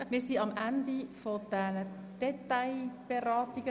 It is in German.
Wir sind am Ende der Detailberatungen.